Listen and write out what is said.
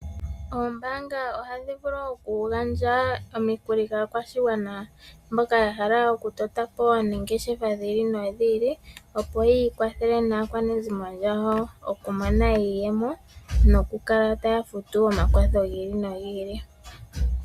Oombanga ohadhi vulu okugandja omikuli kaakwashigwana mboka yahala okutotapo ongeshefa dhili no dhili opo yikwathele naakwanezimo yawo, okumona iiyemo nokukala taya futu omakwatho gili no gili.